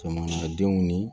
Jamanadenw ni